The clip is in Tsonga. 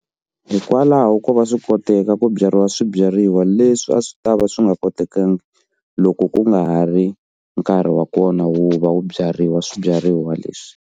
Hikwalaho ko va swi koteka ku byariwa swibyariwa leswi a swi tava swi nga kotekanga loko ku nga ha ri nkarhi wa kona wu va wu byariwa swibyariwa leswi.